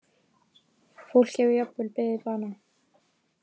Fólk hefur jafnvel beðið bana